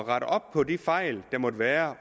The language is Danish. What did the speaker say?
at rette op på de fejl der måtte være